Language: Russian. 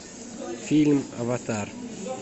фильм аватар